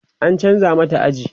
an chanza mata aji